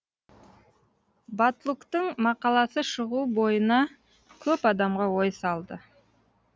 батлуктың мақаласы шығу бойына көп адамға ой салды